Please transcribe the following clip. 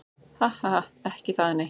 Ha ha ha. Ekki það nei.